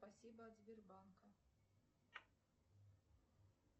спасибо от сбербанка